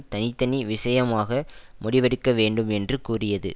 தனி தனி விஷயமாக முடிவெடுக்க வேண்டும் என்று கூறியது